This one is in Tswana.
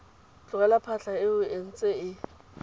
tlogela phatlha eo e ntse